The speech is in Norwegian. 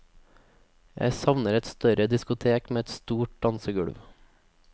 Jeg savner et større diskotek med et stort dansegulv.